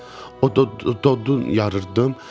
O d-d-d-d odun yarırdım.